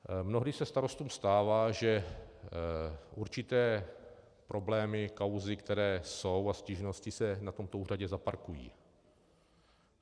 Mnohdy se starostům stává, že určité problémy, kauzy, které jsou, a stížnosti se na tomto úřadě zaparkují.